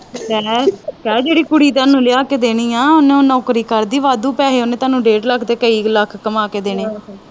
ਹੈਂ ਕਹਿ ਜਿਹੜੀ ਕੁੜੀ ਤੁਹਾਨੂੰ ਲਿਆ ਕੇ ਦੇਣੀ ਆ ਓਹਨੂੰ ਨੌਕਰੀ ਕਰਦੀ ਵਾਧੂ ਪੈਸੇ ਓਹਨੇ ਤੁਹਾਨੂੰ ਡੇਢ ਲੱਖ ਤੇ ਕਈ ਲੱਖ ਕਮਾ ਕੇ ਦੇਣੇ